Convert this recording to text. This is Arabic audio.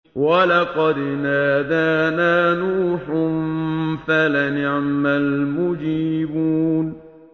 وَلَقَدْ نَادَانَا نُوحٌ فَلَنِعْمَ الْمُجِيبُونَ